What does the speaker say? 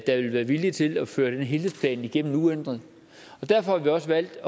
der vil være villige til at føre den helhedsplan igennem uændret derfor har vi også valgt